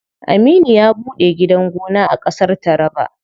Aminu ya ɓuɗe gidan gona a ƙasar taraba.